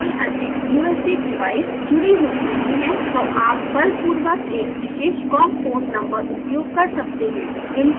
अतः यदि कोई अन्य ubs डिवाइस जुडी हुई नहीं है तो आप बलपूर्वक एक विशेष com पोर्ट नंबर उपयोग कर सकते हैं